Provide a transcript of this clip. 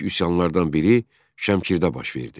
İlk üsyanlardan biri Şəmkirdə baş verdi.